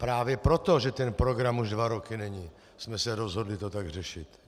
Právě proto, že ten program už dva roky není, jsme se rozhodli to tak řešit.